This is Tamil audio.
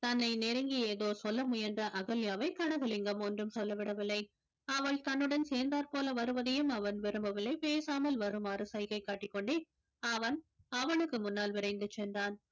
தன்னை நெருங்கி ஏதோ சொல்ல முயன்ற அகல்யாவை கனகலிங்கம் ஒன்றும் சொல்லவிடவில்லை அவள் தன்னுடன் சேர்ந்தார் போல வருவதையும் அவன் விரும்பவில்லை பேசாமல் வருமாறு சைகை காட்டிக்கொண்டே அவன் அவளுக்கு முன்னால் விரைந்து சென்றான்